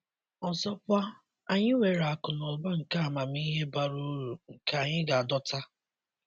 Ọzọkwa, anyị nwere akụ na ụba nke amamihe bara uru nke anyị ga-adọta.